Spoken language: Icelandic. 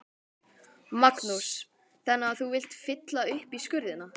Magnús: Þannig að þú vilt fylla upp í skurðina?